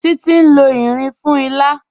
Títi n lọ irin fún ìlà.